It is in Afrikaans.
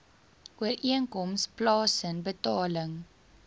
ooreenkoms plaasen betaling